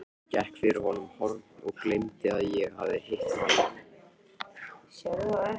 Gekk fyrir horn og gleymdi að ég hafði hitt hann.